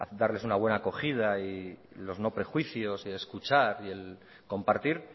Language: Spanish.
de darles una buena acogida y los no prejuicios y escuchar y el compartir